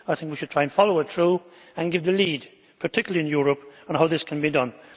I think we should try to follow it through and give the lead, particularly in Europe, on how this can be done.